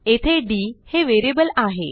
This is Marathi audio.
येथे डी हे व्हेरिएबल आहे